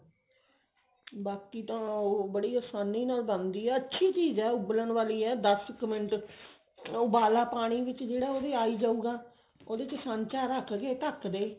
ਬਾਕੀ ਤਾਂ ਉਹ ਬੜੀ ਆਸਾਨੀ ਨਾਲ ਬਣਦੀ ਹੈ ਅੱਛੀ ਚੀਜ਼ ਹੈ ਉਬਲਣ ਵਾਲੀ ਹੈ ਦਸ ਕੁ ਮਿੰਟ ਉਬਾਲਾ ਪਾਣੀ ਵਿੱਚ ਜਿਹੜਾ ਉਹਦੇ ਆ ਹੀ ਜਾਉਗਾ ਉਹਦੇ ਚ ਸਾਂਚਾ ਰੱਖ ਕੇ ਧੱਕ ਦੇ